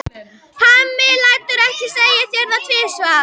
Hemmi lætur ekki segja sér það tvisvar.